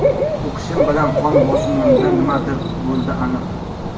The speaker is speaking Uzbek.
O‘qishim bilan qon bosimimda nimadir bo‘ldi aniq.